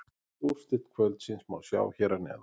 Öll úrslit kvöldsins má sjá hér að neðan